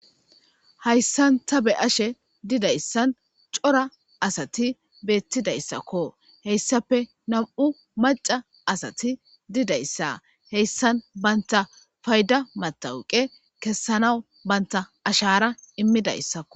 Haysan ta be'ashe didaysan cora asati betidaysako , hesappe nam'u maca asati dizaysa, heysan banta fayda metawoqe kesanawu banta ashara imidaysako.